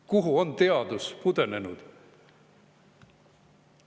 Kuhu on teadus pudenenud?